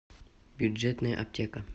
бюджетная аптека